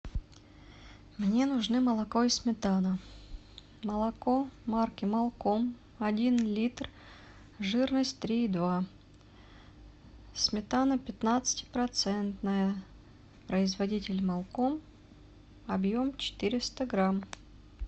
мне нужны молоко и сметана молоко марки молком один литр жирность три и два сметана пятнадцати процентная производитель молком объем четыреста грамм